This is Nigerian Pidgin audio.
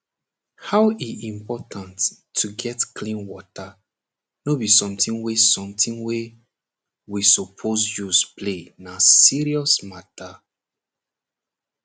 how e important to get clean water nor be somethibg wey somethibg wey we supose use play na serious matter